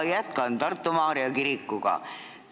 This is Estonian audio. Ma jätkan Tartu Maarja kiriku teemal.